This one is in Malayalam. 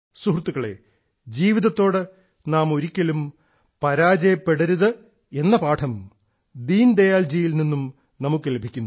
സുഹൃത്തുക്കളെ ജീവിതത്തോട് നാം ഒരിക്കലും പരാജയപ്പെടരുതെന്ന പാഠം ശ്രീ ദീൻദയാലിൽ നിന്നും നമുക്ക് ലഭിക്കുന്നു